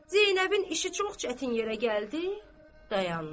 Zeynəbin işi çox çətin yerə gəldi, dayandı.